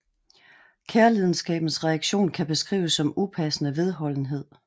Kærlidenskabens reaktion kan beskrives som upassende vedholdenhed